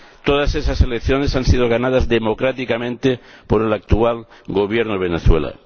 Todas esas elecciones han sido ganadas democráticamente por el actual Gobierno de Venezuela.